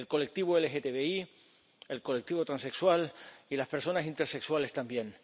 El colectivo LGTBI, el colectivo transexual y las personas intersexuales también.